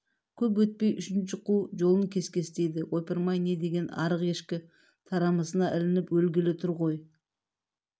көп өтпей үшінші қу жолын кескестейді ойпырмай не деген арық ешкі тарамысына ілініп өлгелі тұр ғой